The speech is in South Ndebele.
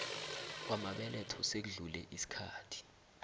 kwamabeletho sekudlule isikhathi